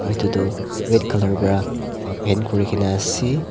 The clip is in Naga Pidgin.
aru etu tu red colour para a paint kori kina ase.